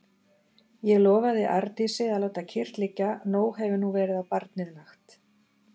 Ég lofaði Arndísi að láta kyrrt liggja, nóg hefur nú verið á barnið lagt.